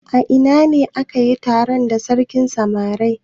A ina ne aka yi taro da sarkin samari?